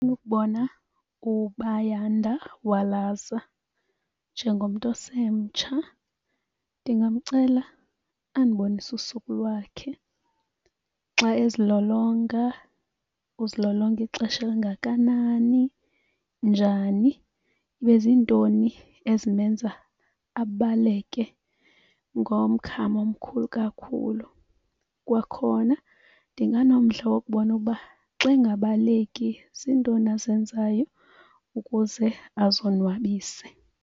ukubona uBayanda Walaza njengomntu osemtsha. Ndingamcela andibonise usuku lwakhe. Xa ezilolonga uzilolonga ixesha kangakanani, njani. Ibe ziintoni ezimenza abaleke ngomgama omkhulu kakhulu. Kwakhona ndinganomdla wokubona ukuba xa engabaleki ziintoni azenzayo ukuze azonwabise.